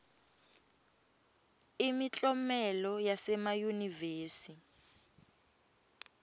imiklomelo yasemayunivesi